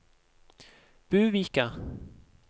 Buvika